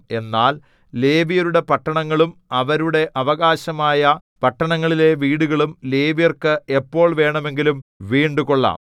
എന്നാൽ ലേവ്യരുടെ പട്ടണങ്ങളും അവരുടെ അവകാശമായ പട്ടണങ്ങളിലെ വീടുകളും ലേവ്യർക്ക് എപ്പോൾ വേണമെങ്കിലും വീണ്ടുകൊള്ളാം